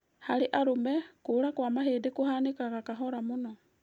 Harĩ arũme, kũra kwa mahĩndĩ kũhanĩkaga kahora mũno